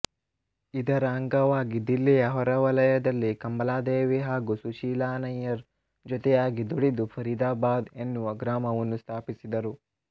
ಇದರ ಅಂಗವಾಗಿ ದಿಲ್ಲಿಯ ಹೊರವಲಯದಲ್ಲಿ ಕಮಲಾದೇವಿ ಹಾಗು ಸುಶೀಲಾ ನಯ್ಯರ ಜೊತೆಯಾಗಿ ದುಡಿದು ಫರೀದಾಬಾದ ಎನ್ನುವ ಗ್ರಾಮವನ್ನು ಸ್ಥಾಪಿಸಿದರು